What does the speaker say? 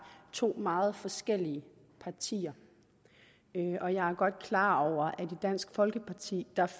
to meget forskellige partier og jeg er godt klar over at i dansk folkeparti